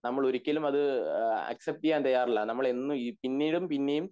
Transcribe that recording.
നമ്മൾ ഒരിക്കലും അത് അ അക്‌സെപ്റ് ചെയ്യാൻ തയ്യാറല്ല നമ്മൾ എന്നും പിന്നിടും പിന്നേം